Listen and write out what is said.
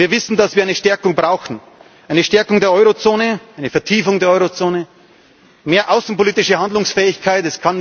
Wir wissen, dass wir eine Stärkung brauchen, eine Stärkung der Eurozone, eine Vertiefung der Eurozone, mehr außenpolitische Handlungsfähigkeit.